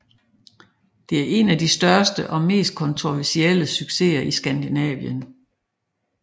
Det er en af de største og mest kontroversielle succeser i Skandinavien